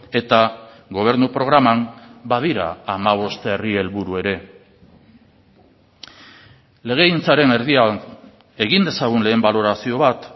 eta gobernu programan badira hamabost herri helburu ere legegintzaren erdian egin dezagun lehen balorazio bat